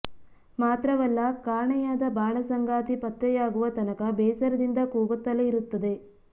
ಮಾತ್ರವಲ್ಲ ಕಾಣೆಯಾದ ಬಾಳ ಸಂಗಾತಿ ಪತ್ತೆಯಾಗುವ ತನಕ ಬೇಸರದಿಂದ ಕೂಗುತ್ತಲೇ ಇರುತ್ತದೆ